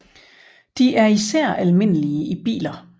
De er især almindelige i biler